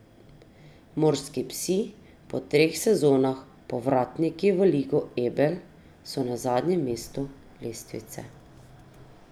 Morski psi, po treh sezonah povratniki v Ligo Ebel, so na zadnjem mestu lestvice.